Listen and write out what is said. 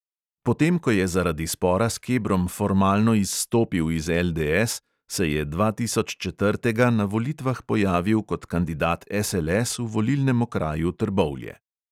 Potem ko je zaradi spora s kebrom formalno izstopil iz LDS, se je dvatisoččetrtega na volitvah pojavil kot kandidat SLS v volilnem okraju trbovlje.